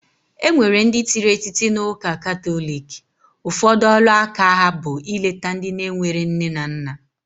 Enwere ndi tiri etiti na uuka katholic, ufodu olu aka aha bu ileta ndi na enwere nne na nna.